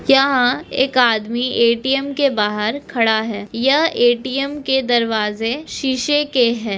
यहाँ एक आदमी ए.टी.एम. के बाहर खड़ा है यह ए.टी.एम. के दरवाजे शीशे के है।